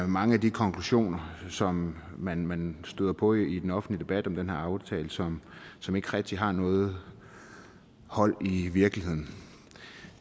mange af de konklusioner som man man støder på i den offentlige debat om den her aftale som som ikke rigtig har noget hold i virkeligheden